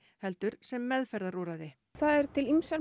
heldur sem meðferðarúrræði það eru til ýmsar